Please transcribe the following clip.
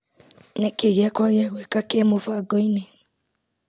Nĩkĩĩ gĩakwa gĩa gwĩka kĩ mũbango-inĩ .